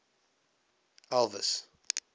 elvis